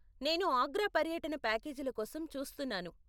నేను ఆగ్రా పర్యటన ప్యాకేజీల కోసం చూస్తున్నాను.